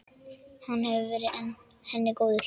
Hann hefur verið henni góður.